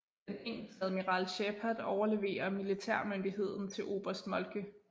Den engelske admiral Sheppard overleverer militærmyndigheden til oberst Moltke